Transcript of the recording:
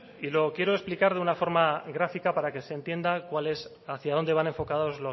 y lo quiero explicar de una forma gráfica para que se entienda cuál es hacia dónde van enfocados